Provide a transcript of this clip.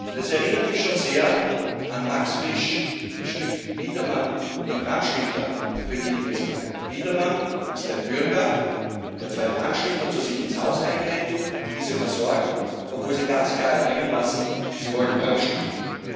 Das erinnert mich schon sehr an Max Frisch Das Stück Biedermann und die Brandstifter für die, die es kennen. Biedermann ist ein Bürger, der zwei Brandstifter zu sich ins Haus einlädt, diese versorgt, obwohl sie ganz klar erkennen lassen, sie wollen brandstiften